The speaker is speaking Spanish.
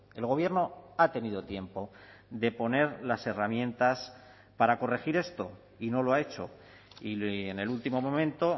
el gobierno ha tenido tiempo de poner las herramientas para corregir esto y no lo ha hecho y en el último momento